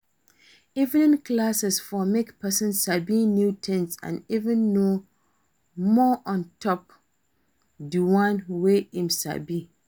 Evening class for make person sabi new things and even know more ontop di one wey im sabi